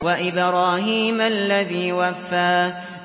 وَإِبْرَاهِيمَ الَّذِي وَفَّىٰ